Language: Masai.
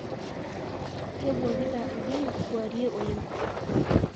Kebwuakita ldein kuarie oleng